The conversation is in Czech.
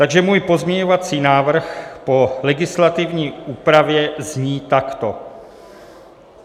Takže můj pozměňovací návrh po legislativní úpravě zní takto.